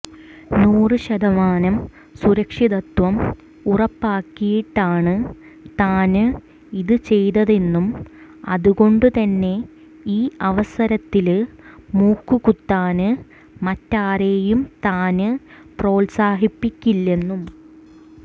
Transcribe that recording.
നൂറ് ശതമാനം സുരക്ഷിതത്വം ഉറപ്പാക്കിയിട്ടാണ് താന് ഇത് ചെയ്തതെന്നും അതുകൊണ്ടുതന്നെ ഈ അവസരത്തില് മൂക്കുകുത്താന് മറ്റാരെയും താന് പ്രോത്സാഹിപ്പിക്കില്ലെന്നും